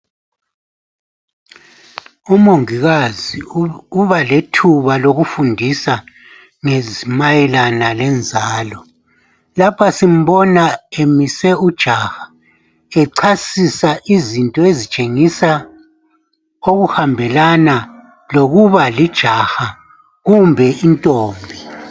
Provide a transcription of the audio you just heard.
Umongikazi ubalethuba lokufundisa mayelana lenzalo. Lapho simbona emise ujaha echasisa izinto ezitshengisa okuhambelana lokuba lijaha kumbe intombi.